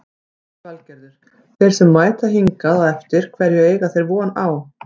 Lillý Valgerður: Þeir sem mæta hingað á eftir hverju eiga þeir von á?